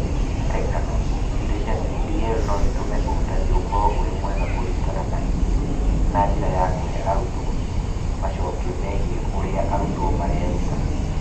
Kwa ngerekano, indo cia DPL no itũme ũrutani ũkorũo ũrĩ mwega kũringana na ithimi na njĩra ya kũhe arutani macokio megiĩ ũrĩa arutwo mareruta.